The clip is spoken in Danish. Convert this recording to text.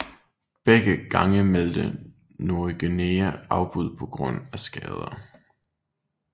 Begge gange meldte Nogueira afbud på grund af skader